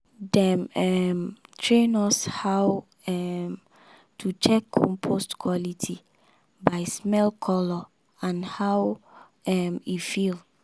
dem um train us how um to check compost quality by smell colour and how um e feel.